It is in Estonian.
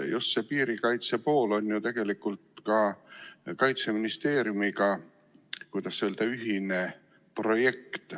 Just see piirikaitse pool on ju tegelikult ka Kaitseministeeriumiga, kuidas öelda, ühine projekt.